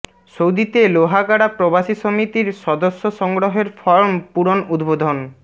সৌদিতে লোহাগাড়া প্রবাসী সমিতির সদস্য সংগ্রহের ফরম পূরণ উদ্বোধন